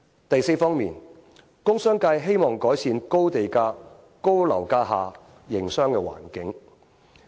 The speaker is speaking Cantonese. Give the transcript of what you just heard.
第四方面，工商界希望改善高地價、高樓價下的營商環境。